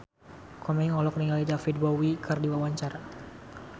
Komeng olohok ningali David Bowie keur diwawancara